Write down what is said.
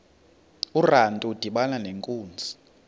urantu udibana nenkunzi